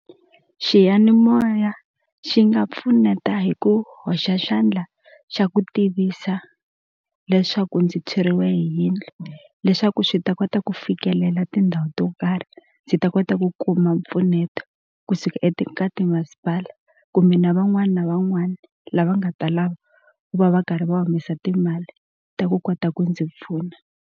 Xiyanimoya xi nga pfuneta hi ku hoxa xandla xa ku tivisa leswaku ndzi tshweriwe hi yindlu leswaku swi ta kota ku fikelela tindhawu to karhi ndzi ta kota ku kuma mpfuneto kusuka ka timasipala kumbe na van'wana van'wana lava nga ta lava ku va va karhi va humesa timali ta ku kota ku ndzi pfuna.